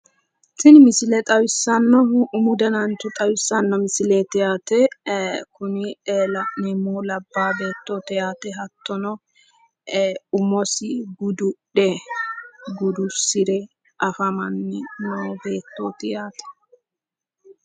Tini misile xawissannohu umu danancho xawissanno misileeti yaate hattono kuni la'neemmohu labbaa beettooti yaate hattono umosi gududhe gudursire afamanno beettooti yaate.